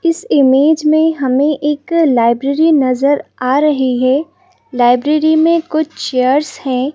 इस इमेज में हमें एक लाइब्रेरी नजर आ रही है लाइब्रेरी में कुछ चेयर्स हैं।